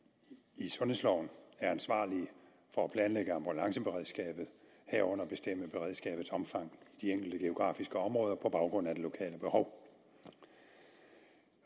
i sundhedsloven er ansvarlige for at planlægge ambulanceberedskabet herunder bestemme beredskabets omfang i de enkelte geografiske områder på baggrund af de lokale behov